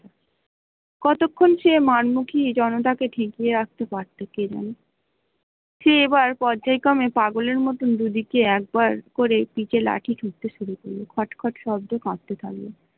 কতক্ষণ সে মারমুখি জনতা কে থাকিয়ে রাখতে পারত কে জানে? সে এবার পর্যায় ক্রমে পাগলের মতো দু দিকে একবার করে পিঠে লাঠি ঠুকতে শুরু করলো ঠক ঠক শব্দে কাঁপতে থাকলো ।